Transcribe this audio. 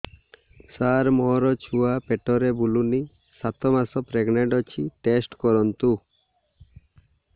ସାର ମୋର ଛୁଆ ପେଟରେ ବୁଲୁନି ସାତ ମାସ ପ୍ରେଗନାଂଟ ଅଛି ଟେଷ୍ଟ କରନ୍ତୁ